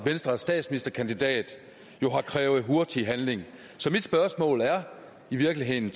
venstres statsministerkandidat har krævet hurtig handling så mit spørgsmål er i virkeligheden